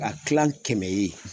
Ka kilan kɛmɛ ye